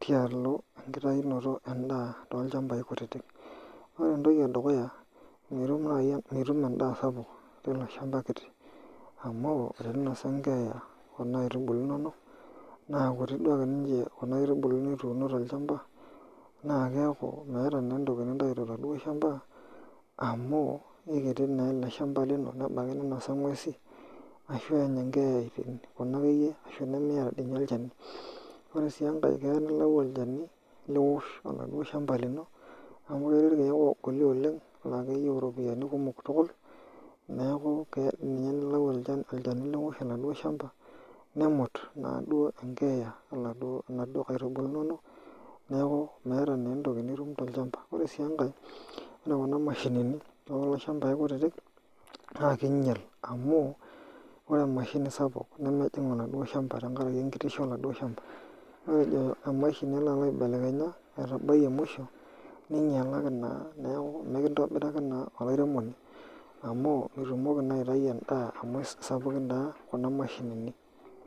tialo engitainoto en'daa tolchambai kutitik, ore entoki edukuya naa mitum endaa sapuk tiloshamba kiti amu teninosa engeeya kuna aitubulu inonok naa kutii duake ninje kuna aitubulu nituuno tolchamba naa keeku meeta naa entoki nintayu toladuo shamba amu aikiti naa ele shamba lino nebaiki naa ninosa ingwesi ashu enya engeeya Kuna akeyie nemeeta dii ninye olchani. Ore sii engae keya nilayu olchani liwosh oladuo shamba lino amu ketii ilkiek ogoli oleng laa keyieu iropiani kumok tukul neeku keya ninye nilau olchani liwosh oladuo shamba nemut naaduo engeeya inaduo kaitubulu inonok neeku meeta na entoki nitum tolchamba Ore sii engae ore kuna mashinini tokulo shambai kutitik naa kiinyal amu ore emshini sapuk nemejing oladuo shamba tenkaraki engitishu oladuo shamba Matejo tenelo aibelekenya etabayie muisho ninyalaki naa niaku mekintobiraki naa olairemoni amu mitumoki naa aitayu I en'daa amu sapukin naa kuna mashinini